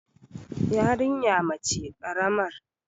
yarinya mace karamar